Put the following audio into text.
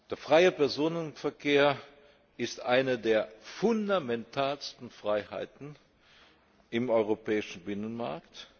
Der freie Personenverkehr ist eine der fundamentalsten Freiheiten im europäischen Binnenmarkt.